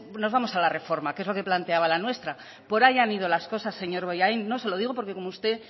nos vamos a la reforma que es lo que planteaba la nuestra por ahí han ido las cosas señor bollain no se lo digo porque como usted